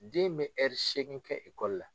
Den bɛ hɛri seegin kɛ ekɔli la.